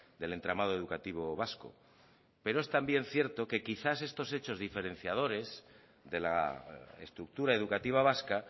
del entramado educativo vasco pero es también cierto que quizás estos hechos diferenciadores de la estructura educativa vasca